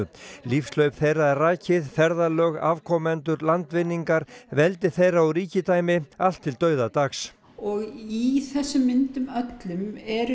lífshlaup þeirra er rakið ferðalög afkomendur landvinningar veldi þeirra og ríkidæmi allt til dauðadags og í þessum myndum öllum eru